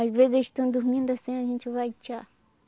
Às vezes eles estão dormindo assim, a gente vai tirar.